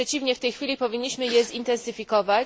Wręcz przeciwnie, w tej chwili powinniśmy je zintensyfikować.